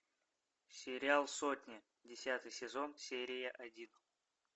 сериал сотня десятый сезон серия один